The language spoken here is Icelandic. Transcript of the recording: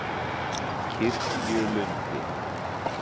Kirkjulundi